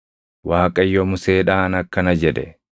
Waaqayyo Museedhaan akkana jedhe;